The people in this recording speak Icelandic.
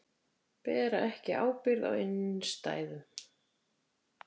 Bera ekki ábyrgð á innstæðum